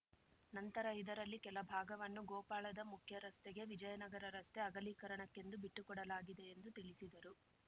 ನಂತರ ಇದರಲ್ಲಿ ಕೆಲ ಭಾಗವನ್ನು ಗೋಪಾಳದ ಮುಖ್ಯ ರಸ್ತೆಗೆ ವಿಜಯನಗರ ರಸ್ತೆ ಅಗಲೀಕರಣಕ್ಕೆಂದು ಬಿಟ್ಟುಕೊಡಲಾಗಿದೆ ಎಂದು ತಿಳಿಸಿದರು